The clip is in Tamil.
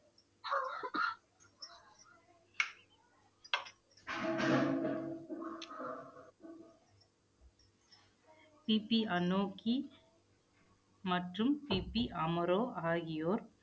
பிபி அனோக்கி மற்றும் சிபி அமரோ ஆகியோர்